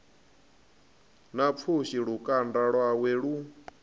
na pfushi lukanda lwawe lu